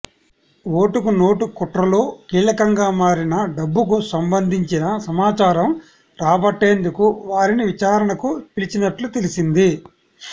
ఓటుకు నోటు కుట్రలో కీలకంగా మారిన డబ్బుకు సంబంధించిన సమాచారం రాబట్టేందుకు వారిని విచారణకు పిలిచినట్లు తెలిసింది